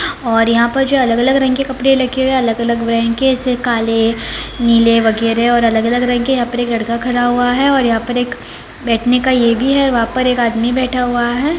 और यहाँ पर जो है अलग-अलग रंग के कपड़े रखे हुए हैं अलग-अलग रंग के काले नीले वगेरा और अलग-अलग रंग के यहाँ पर एक लड़का खड़ा हुआ है और यहाँ पर एक बैठने का ये भी है वहां पर एक आदमी बैठा हुआ है।